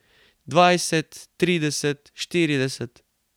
Dvajset, trideset, štirideset ...